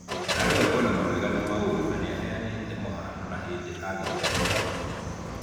Arauga kwĩna mawega na maũru na nĩaheanĩte mũhano wa hĩndĩ agĩte nguraro njũru.